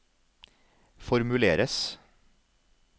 formuleres